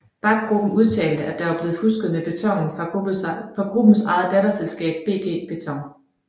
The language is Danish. Bach Gruppen udtalte at der var blevet fusket med betonen fra gruppens eget datterselskab BG Beton